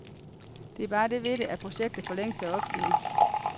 Der er bare det ved det, at projektet for længst er opgivet.